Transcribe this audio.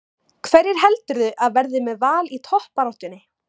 Hverjir heldurðu að verði með Val í toppbaráttunni?